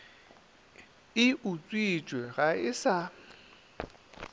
e utswitšwe ga e sa